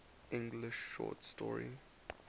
english short story